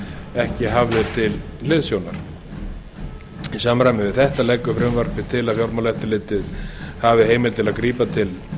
ekki hafðir til hliðsjónar í samræmi við þetta leggur frumvarpið til að fjármálaeftirlitið hafi heimild til að grípa til